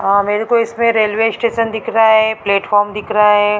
मेरे को इसमें रेलवे स्टेशन दिख रहा है प्लेटफार्म दिख रहा है।